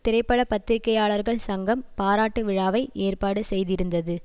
திரைப்பட பத்திரிகையாளர்கள் சங்கம் பாராட்டு விழாவை ஏற்பாடு செய்திருந்தது